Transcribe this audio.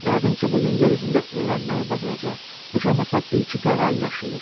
Yəqin ki, bu gün yer üzündə öyrənməyi bacaracaq, heç olmasa bir-iki qağayı yaşayır.